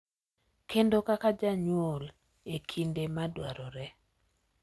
Kendo kaka janyuol e kinde ma dwarore.